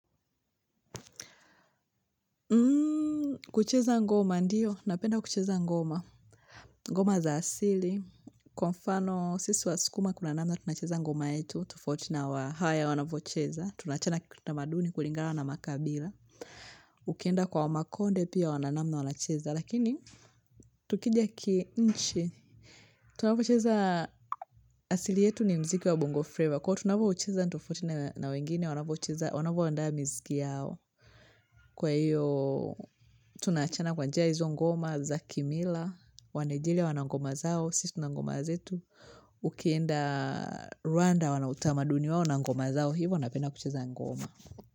Kucheza ngoma ndiyo. Napenda kucheza ngoma. Ngoma za asili. Kwa mfano sisi wasukuma kuna namna tunacheza ngoma yetu. Tofauti na wa haya wanavyocheza. Tunaachana kitamaduni kulingala na makabila. Ukienda kwa makonde pia wana namna wanacheza. Lakini tukija ki inchi. Tunapocheza asili yetu ni mziki wa bongo Flava. Kwa hivo tunavoucheza ni tofauti na wengine, wanavoucheza, wanavoandaa mziki yao. Kwa hiyo, tunaachana kwa njia hizo ngoma za Kimila, wanaijeria wana ngoma zao, sisi tuna ngoma zetu. Ukienda Rwanda wanautamaduni wao na ngoma zao, hivo wanapenda kucheza ngoma.